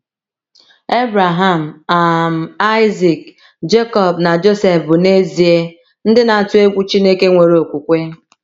Ebreham, um Aịzik, Jekọb, na Josef bụ n’ezie ndị na - atụ egwu Chineke nwere okwukwe.